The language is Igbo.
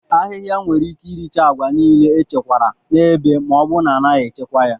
Ahịhịa nwere ike iricha agwa niile echekwara n'ebe ma ọ bụrụ na a naghị achịkwa ya.